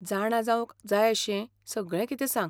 जाणा जावंक जाय अशें सगळें कितें सांग.